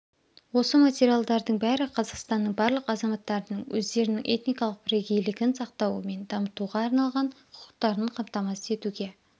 осы материалдардың бәрі қазақстанның барлық азаматтарының өздерінің этникалық бірегейлігін сақтау мен дамытуға арналған құқықтарын қамтамасыз етуге